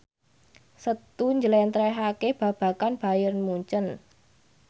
Setu njlentrehake babagan Bayern Munchen